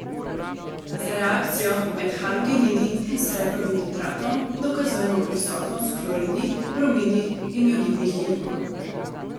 Z reakcijo med halogenidi in srebrovim nitratom dokazujemo prisotnost kloridnih, bromidnih in jodidnih ionov.